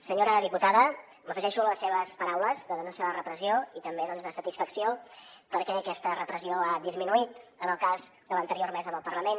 senyora diputada m’afegeixo a les seves paraules de denúncia de la repressió i també doncs de satisfacció perquè aquesta repressió ha disminuït en el cas de l’anterior mesa del parlament